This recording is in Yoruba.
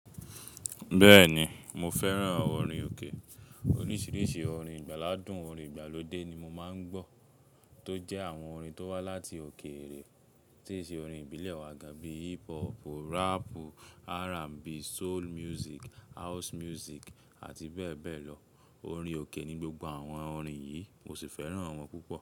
Bẹ́ẹ̀ni mo fẹ́ràn àwọn orin òkè. Oríṣiríṣi orin, ìgbàlàdùn, orin ìgbàlódé ni mo máa ń gbọ́ tó jẹ́ àwọn orin tó wá láti òkèèrè tí ṣe orin ìbílẹ̀ wa gáà bíi hip hop, rap, R&B, soul music, house music àti bẹ́ẹ̀ bẹ́ẹ̀ lọ. Orin òkè ni gbogbo àwọn orin yìí mo sì fẹ́ràn wọn púpọ̀.